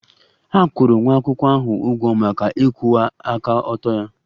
A kwụrụ nwa akwụkwọ ahụ ụgwọ maka ịkwụwa aka ọtọ ya